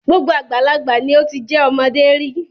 Gbogbo àgbàlagbà ni ó ti jẹ́ ọmọdé rí.